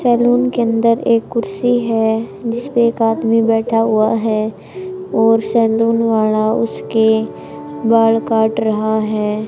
Salon के अंदर एक कुर्सी है जिसपे एक आदमी बैठा हुआ है और सैलून वाला उसके बाल काट रहा है।